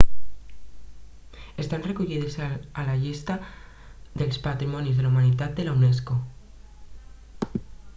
estan recollides a la llista dels patrimonis de la humanitat de la unesco